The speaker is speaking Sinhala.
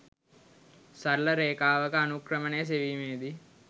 සරල රේඛාවක අනූක්‍රමණය සෙවීමේ දී